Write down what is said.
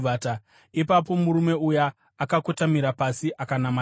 Ipapo murume uya akakotamira pasi akanamata Jehovha,